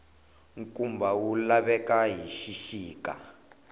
nkumba wu laveka hi xixika